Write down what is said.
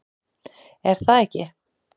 Er það ekki